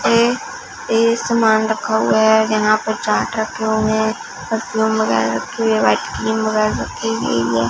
ये ये सामान रखा हुआ है जहां पर चार्ट रखे हुए हैं मंगाए रखे हुए व्हाइट क्रीम मंगाए रखी गई है।